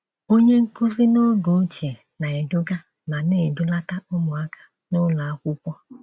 Onye nkuzi n’oge ochie na - eduga, ma na-edulata ụmụaka n'ụlọ akwụkwọ.